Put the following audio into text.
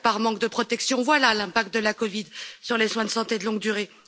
Loupiac, par manque de protection, voilà l'impact de la COVID sur les soins de santé de longue durée.